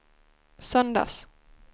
söndags